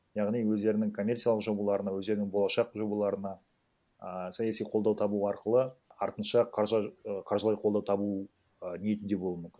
яғни өздерінің коммерциялық жобаларына өздерінің болашақ жобаларына а саяси қолдау табу арқылы артынша ы қаржылай қолдау табу ы ниетінде болуы мүмкін